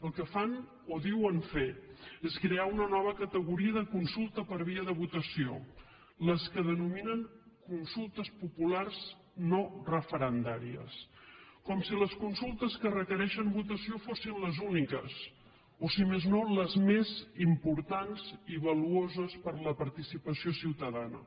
el que fan o diuen fer és crear una nova categoria de consulta per via de votació les que denominen consultes populars no referendàries com si les consultes que requereixen votació fossin les úniques o si més no les més importants i valuoses per la participació ciutadana